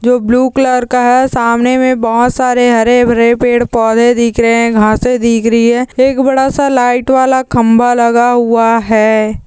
जो blue colour का है सामने मे बहुत सारे हरे भरे पेड़ पौधे दीख रहे है घासें दीखरी है एक बड़ा सा लाइट वाला खंबा लगा हुआ है।